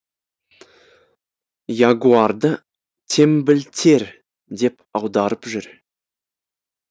ягуарды теңбілтер деп аударып жүр